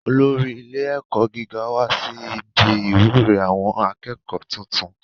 Olórí ilé ẹ̀kọ́ gíga wá sí ibi ìwúre àwọn akẹ́kọ̀ọ́ tuntun